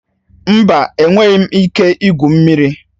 Mba, enweghị m ike igwu mmiri